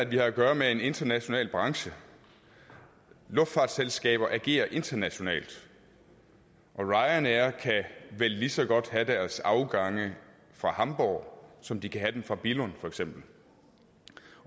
vi har at gøre med en international branche luftfartsselskaber agerer internationalt og ryanair kan vel lige så godt have deres afgange fra hamborg som de kan have dem fra billund for eksempel